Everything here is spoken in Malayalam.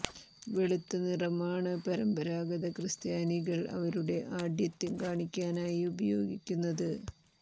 വെളുത്ത നിറം ആണ് പരമ്പരാഗത ക്രിസ്ത്യാനികൾ അവരുടെ ആഢ്യത്വം കാണിക്കാനായി ഉപയോഗിക്കുന്നത്